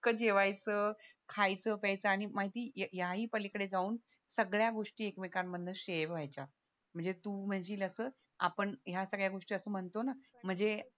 जेवायचं खायचं प्यायचं आणि माहिती या ही पलीकडे जाऊन सगळ्या गोष्टी एकमेकांन मधनं शेयर व्हायच्या म्हणज तु म्हणशील असं आपण या सगळ्या गोष्टी म्हणतो सगळ्या गोष्टी असं म्हणतो ना म्हजे